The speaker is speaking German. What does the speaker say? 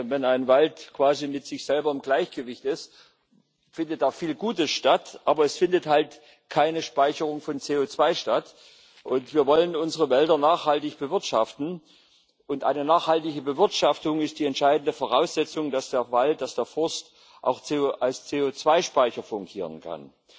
Wenn ein Wald quasi mit sich selber im Gleichgewicht ist, findet da viel Gutes statt, aber es findet halt keine Speicherung von CO2 statt. Wir wollen unsere Wälder nachhaltig bewirtschaften, und eine nachhaltige Bewirtschaftung ist die entscheidende Voraussetzung dafür, dass der Wald, dass der Forst auch als CO2 Speicher fungieren kann.